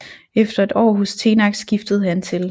Efter et år hos Tenax skiftede han til